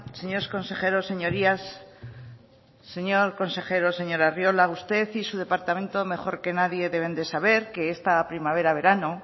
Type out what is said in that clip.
señores consejeros señorías señor consejero señor arriola usted y su departamento mejor que nadie deben de saber que esta primavera verano